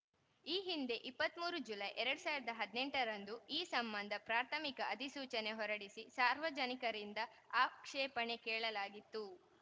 ಈ ಹಿಂದೆ ಇಪ್ಪತ್ತ್ ಮೂರು ಜುಲೈ ಎರಡ್ ಸಾವಿರದ ಹದಿನೆಂಟರಂದು ಈ ಸಂಬಂಧ ಪ್ರಾಥಮಿಕ ಅಧಿಸೂಚನೆ ಹೊರಡಿಸಿ ಸಾರ್ವಜನಿಕರಿಂದ ಆಕ್ಷೇಪಣೆ ಕೇಳಲಾಗಿತ್ತು